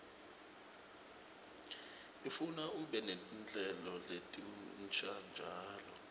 ifuna ube netinhlelo letinsha njalo